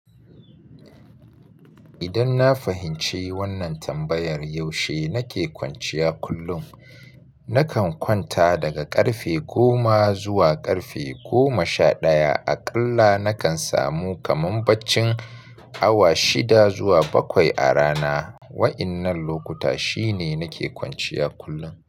Idan na fahimci wannan tambayar yaushe nake kwanciya kullum, nakan kwanta daga ƙarfe goma zuwa ƙarfe goma sha ɗaya. Aƙalla nakan samu kamar baccin awa shida zuwa bakwai a rana. Wa'innan lokuta shine nake kwanciya kullum.